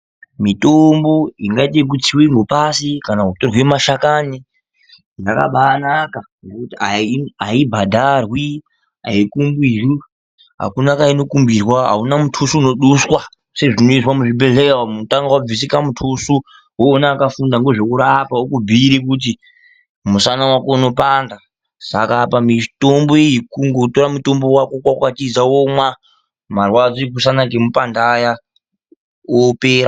Mitombo ingadiwa kutsiwa ngepashi kana kutonhe mashakani yakabaanaka ngekuti aibhadharwi, aikumbirwi ,akuna kwainokumbirwa. Auna muthusvi unoduswa sezvinoizwe muzvibhedhleya umumunozi tanga wadusa mutusvi woona akafunda ngezvekurapa okubhuira kuti musana wako unopanda saka apa mutombo uyu kungotora mutombo wako wokwakwatisa womwa marwadzo emusana okupanda aya opera.